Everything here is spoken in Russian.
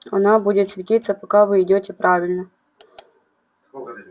она будет светиться пока вы идёте правильно